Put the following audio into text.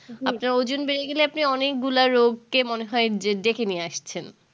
আপনার ওজন বেড়ে গেলে আপনি অনেকগুলা রোগকে মনে হয় যে ডেকে নিয়ে আসছেন